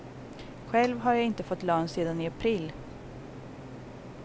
Själv har jag inte fått lön sedan i april.